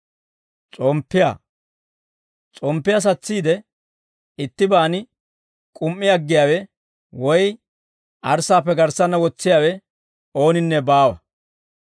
«S'omppiyaa satsiide ittibaan k'um"i aggiyaawe woy arssaappe garssanna wotsiyaawe ooninne baawa.